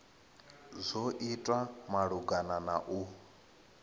dzo itwa malugana na u